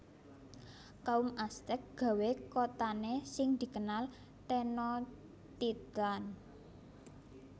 Kaum Aztèk gawé kotane sing dikenal Tenochtitlan